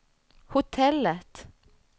hotellet